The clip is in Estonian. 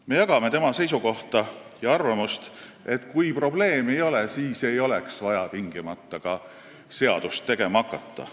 Me jagame tema seisukohta ja arvamust, et kui probleemi ei ole, siis ei oleks tingimata vaja seadust tegema hakata.